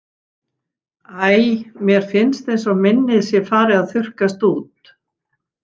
Æ, mér finnst eins og minnið sé farið að þurrkast út.